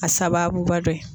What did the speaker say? A sababuba dɔ ye.